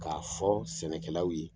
K'a fɔ sɛnɛkɛlaw ye